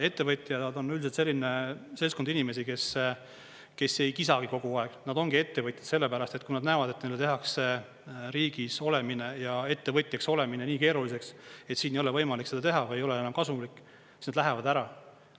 Ettevõtjad, nad on üldiselt selline seltskond inimesi, kes ei kisagi kogu aeg, nad ongi ettevõtjad selle pärast, et kui nad näevad, et neile tehakse riigis olemine ja ettevõtjaks olemine nii keeruliseks, et siin ei ole võimalik seda teha või ei ole enam kasumlik, siis nad lähevad ära.